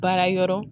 Baara yɔrɔ